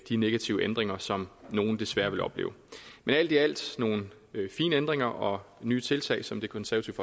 de negative ændringer som nogle desværre vil opleve men alt i alt nogle fine ændringer og nye tiltag som det konservative